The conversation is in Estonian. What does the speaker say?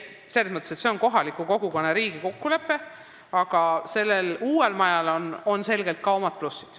See on kohaliku kogukonna ja riigi kokkulepe, aga uuel majal on selgelt ka omad plussid.